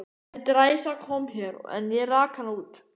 Þessi dræsa kom hér, en ég rak hana út.